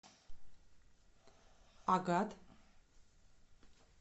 агат